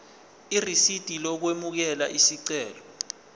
irisidi lokwamukela isicelo